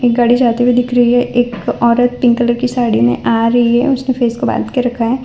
एक गाड़ी जाती हुई दिख रही है एक औरत पिंक कलर की साड़ी में आ रही है उसने फेस को बांध के रखा है।